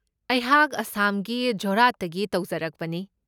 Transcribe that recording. ꯑꯩꯍꯥꯛ ꯑꯁꯥꯝꯒꯤ ꯖꯣꯔꯍꯥꯠꯇꯒꯤ ꯇꯧꯖꯔꯛꯄꯅꯤ꯫